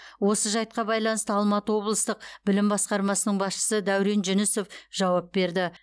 осы жайтқа байланысты алматы облыстық білім басқармасының басшысы дәурен жүнісов жауап берді